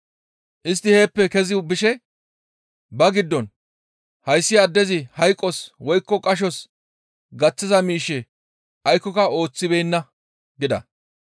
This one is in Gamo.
Istti heeppe kezi bishe ba giddon, «Hayssi addezi hayqos woykko qashos gaththiza miishshe aykkoka ooththibeenna» gida.